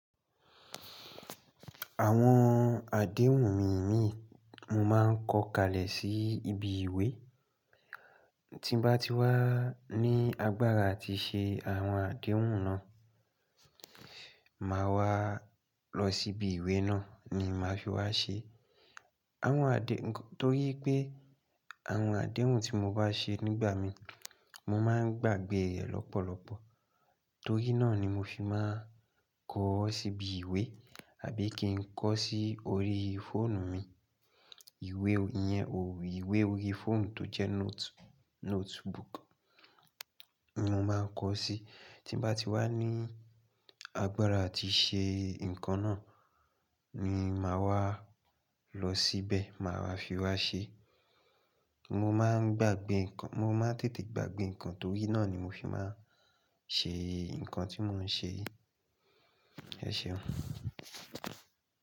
Àwọn àdéhùn mi mí mo máa ń kọ̀ kalẹ̀ sí ibi ìwé. Tí mo bá ti wá ní agbára àti ṣe àwọn àdéhùn náà, màá wá lọ sí ibi ìwé náà ni màá fi wá ṣe. Àwọn àdé-- torí pé àwọn àdéhùn tí mo bá ṣe nígbà mi, mo máa ń gbàgbé rẹ̀ lọ́pọ̀lọ́pọ̀ torí náà ni mo fi máa ń kọ̀ ọ́ sí ibi ìwé àbí kí n kọ̀ ọ́ sí orí fóònù mi. Ìwé yẹn ò, ìwé orí fóònù tó jẹ́ note-notebook ni mo máa ń kọ̀ ọ́ sí. Tí mo bá ti wá ní agbára àti ṣe nǹkan náà ni màá wá lọ síbẹ̀, màá wá fi wá ṣe. Mo máa ń gbàgbé nǹkan, mo máa ń tètè gbàgbé nǹkan torí náà ni mo fi máa ń ṣe nǹkan tí mò ń ṣe yìí. Ẹ ṣeun.